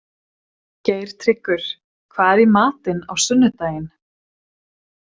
Geirtryggur, hvað er í matinn á sunnudaginn?